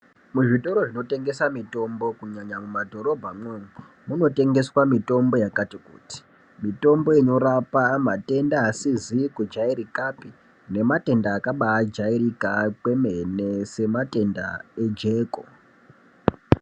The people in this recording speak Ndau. Muzvitoro zvinotengesa mitombo kunyanya kumadhorobhamwo umwo, munotengeswa mitombo yakati kuti. Mitombo inorapa matenda isizi kujairikapi nematenda akabaajairika kwemene sematenda ejeko.